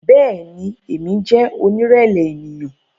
Bẹẹni, Emi jẹ onirẹlẹ eniyan